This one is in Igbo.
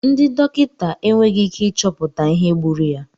Ndị dọkịta enweghị ike ịchọpụta ihe gburu ya.